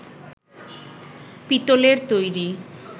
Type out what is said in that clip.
পিতলের তৈরি